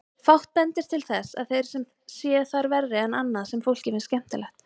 Fátt bendir til þess að þeir séu þar verri en annað sem fólki finnst skemmtilegt.